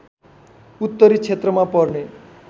उत्तरी क्षेत्रमा पर्ने